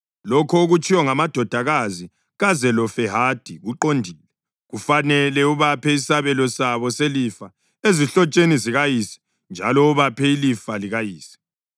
“Lokho okutshiwo ngamadodakazi kaZelofehadi kuqondile. Kufanele ubaphe isabelo sabo selifa ezihlotsheni zikayise njalo ubaphe ilifa likayise.